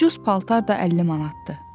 Ucuz paltar da 50 manatdır.